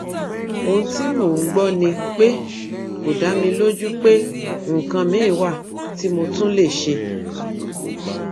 ohun tí mò ń gbọ ni pé kò dá mi lójú pé nǹkan miín wà tí mo tún lè ṣe